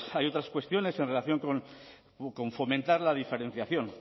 hay otras cuestiones en relación con fomentar la diferenciación